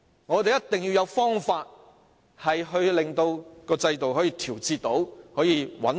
我們一定要找出方法調節制度，令其變得穩定。